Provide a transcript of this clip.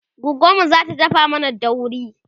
goggonmu zata dafa mana daurin